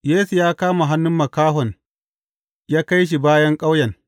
Yesu ya kama hannun makahon ya kai shi bayan ƙauyen.